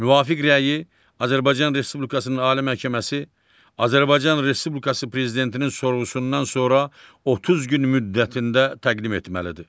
Müvafiq rəyi Azərbaycan Respublikasının Ali Məhkəməsi, Azərbaycan Respublikası Prezidentinin sorğusundan sonra 30 gün müddətində təqdim etməlidir.